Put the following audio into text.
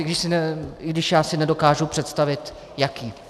I když si já nedokážu představit jaký.